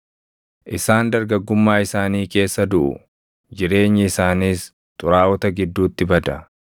Isaan dargaggummaa isaanii keessa duʼu; jireenyi isaaniis xuraaʼota gidduutti bada.